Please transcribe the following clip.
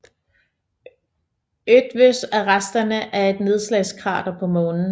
Eötvös er resterne af et nedslagskrater på Månen